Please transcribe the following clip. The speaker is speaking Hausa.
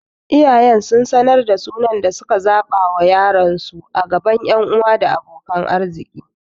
Iyayen sun sanar da sunan da suka zaɓa wa yaronsu a gaban ƴan uwa da abokan arziki.